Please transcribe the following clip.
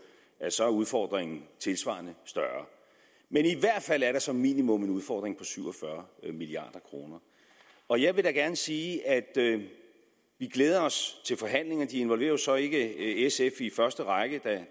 at så er udfordringen tilsvarende større men i hvert fald er der som minimum en udfordring på syv og fyrre milliard kroner og jeg vil da gerne sige at vi glæder os til forhandlingerne de involverer jo så ikke i sf i første række